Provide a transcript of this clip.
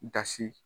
Dasi